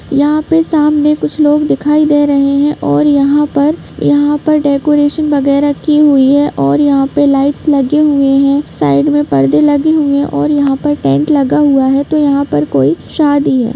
यहाँ पे सामने कुछ लोग दिखाई दे रहे है और यहाँ पर यहाँ पर डेकोरेशन वगेरा की हुए है और यहाँ पे लाइट्स लगे हुई है साइड में परदे लगे हुए हे और यहाँ पर टेंट लगा हुए है तो यहाँ पर कौई शादी हैं।